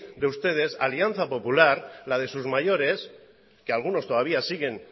de ustedes alianza popular la de sus mayores que algunos todavía siguen